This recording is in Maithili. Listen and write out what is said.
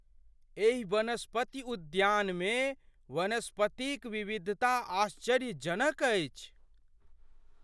एहि वनस्पति उद्यानमे वनस्पतिक विविधता आश्चर्यजनक अछि।